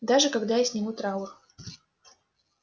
даже когда я сниму траур